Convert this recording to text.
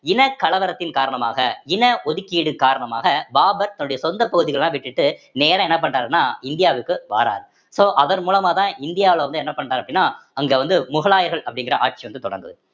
இனக்கலவரத்தின் காரணமாக இன ஒதுக்கீடு காரணமாக பாபர் தன்னுடைய சொந்த பகுதிகளல்லாம் விட்டுட்டு நேரா என்ன பண்றாருன்னா இந்தியாவுக்கு வாராரு so அதன் மூலமாதான் இந்தியாவுல வந்து என்ன பண்றாரு அப்படின்னா அங்க வந்து முகலாயர்கள் அப்படிங்கிற ஆட்சி வந்து தொடங்குது